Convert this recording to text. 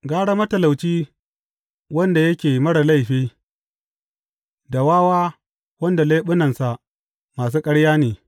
Gara matalauci wanda yake marar laifi da wawa wanda leɓunansa masu ƙarya ne.